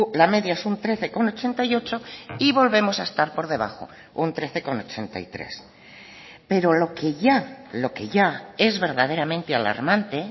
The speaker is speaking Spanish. la media es un trece coma ochenta y ocho y volvemos a estar por debajo un trece coma ochenta y tres pero lo que ya lo que ya es verdaderamente alarmante